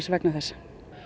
vegna þess